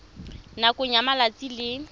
nakong ya malatsi a le